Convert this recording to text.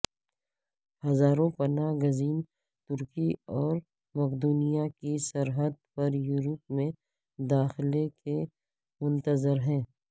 ہزاروں پناہ گزین ترکی اور مقدونیہ کی سرحد پر یورپ میں داخلے کے منتظر ہیں